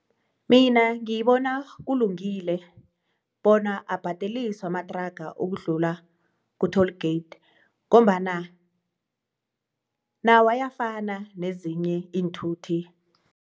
Mina ngibona kulungile bona abhadeliswe amatraga ukudlula ku-toll gate ngombana nawo ayafana nezinye iinthuthi.